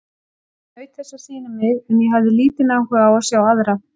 Ég naut þess að sýna mig, en ég hafði lítinn áhuga á að sjá aðra.